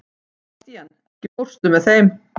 Bastían, ekki fórstu með þeim?